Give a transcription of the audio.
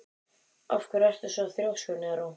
Af hverju ertu svona þrjóskur, Neró?